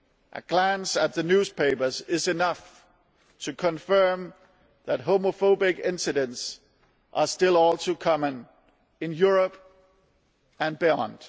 A glance at the newspapers is enough to confirm that homophobic incidents are still all too common in Europe and beyond.